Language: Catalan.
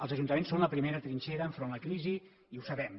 els ajuntaments són la primera trinxera davant de la crisi i ho sabem